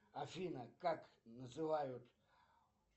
афина как называют